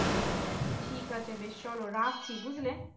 ঠিক আছে বেশ চল রাখছি বুঝলে